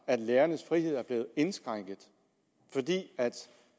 lærernes frihed er blevet indskrænket fordi